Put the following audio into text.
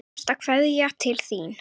Síðasta kveðja til þín.